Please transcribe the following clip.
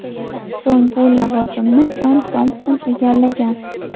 So‘ng bu lavozimni Jon Tompson egallagan.